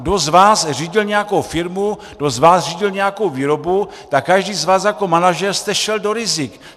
Kdo z vás řídil nějakou firmu, kdo z vás řídil nějakou výrobu, tak každý z vás jako manažer jste šel do rizik.